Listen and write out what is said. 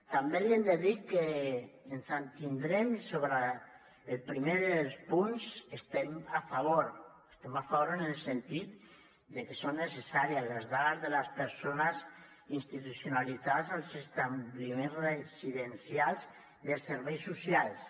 també li hem de dir que ens abstindrem i sobre el primer dels punts hi estem a favor hi estem a favor en el sentit de que són necessàries les dades de les persones institucionalitzades als establiments residencials dels serveis socials